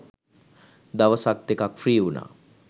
දවසක් දෙකක් ෆ්‍රී වුනා.